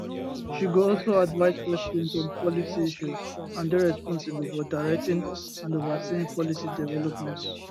she go also advise president on policy issues and dey responsible for directing and overseeing policy development